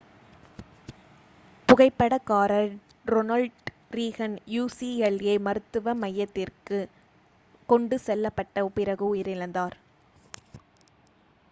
புகைப்படக்காரர் Ronald Reagan ucla மருத்துவ மையத்திற்கு கொண்டு செல்லப்பட்ட பிறகு உயிரிழந்தார்